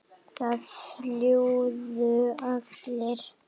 Það flúðu allir.